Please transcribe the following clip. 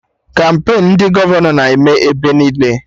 Kampain ndị gọvanọ na-eme ebe niile